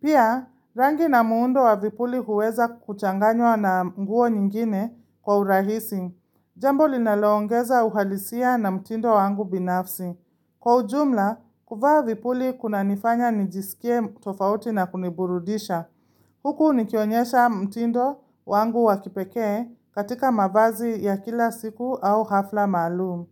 Pia, rangi na muundo wa vipuli huweza kuchanganywa na nguo nyingine kwa urahisi. Jambo linaloongeza uhalisia na mtindo wangu binafsi. Kwa ujumla, kuvaa vipuli kunanifanya nijisikie tofauti na kuniburudisha. Huku nikionyesha mtindo wangu wa kipekee katika mavazi ya kila siku au hafla maalum.